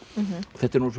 þetta eru